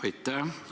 Aitäh!